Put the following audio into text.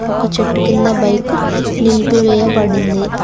ఒక చెట్టు కింద బైక్ నిలిపివేయబడింది